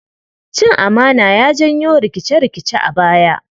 Cin amana ya janyo rikice-rikice a baya.